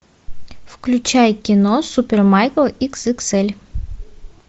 включай кино супер майк икс икс эль